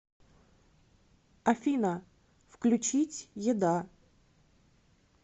афина включить еда